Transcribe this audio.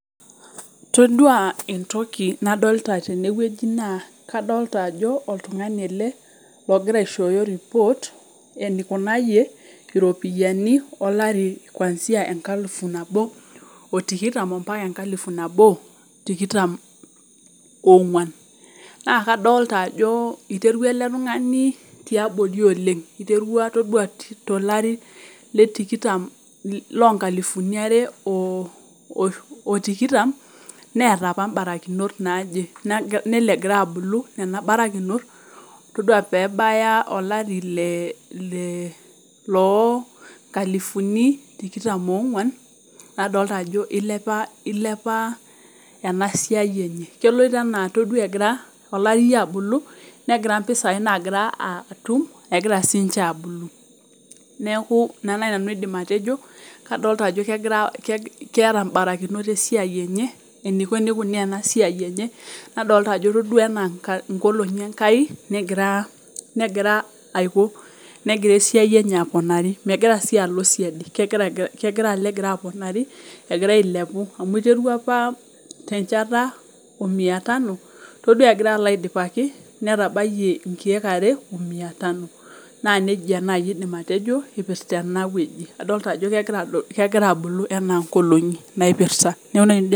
Todua entoki nadolta tenewueji naa , kadolta ajo oltungani ele logira aishoyo report enikunayie iropiyiani kwanzia olari lenkalifu nabo otikitin ompaka enkalifu nabo otikitam ongwan , naa kadolta ajo iterua eletungani tiabori oleng , iterua todua tolari letikitam lonkalifuni are otikitam neeta apa mbarakinot naje , nelo egira abulu nena barakinot , todua pebaya olari le ,le loo nkalifuni tikitam ongwan nadolta ajo ilepa, ilepa enasia enye .Keloito anaa ore egira olari abulu , negia mpisai nagira atum , egira sinche abulu , neeku ina naji nanu aidim atejo , adol ajo keeta mbarakinot esiai eniko enikunaa enasiai enye , nadol ajo todua anaa nkolongi enkai negira aiko , negira esiai enye aponari , megira sii alo , kegira alo egira aponari , egira ailepu amu iterua apa tenchata omian tano , todua egira alo aidipaki netabayie nkiek are omia tano naa nejia naji aidim atejo ipirta enewueji .